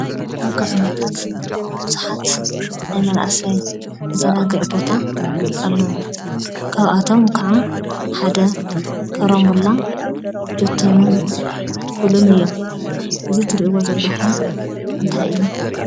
አብ ከተማታት ብዙሓት ናይ መናእሰይ መዘናግዒ ቦታ አለው። ካብአቶም ከዓ ሓደ ኮራምብላ፣ ጆተንን ፑልን እዮም። እዚ ትሪእዎ ዘለኹም እንታይ እዩ?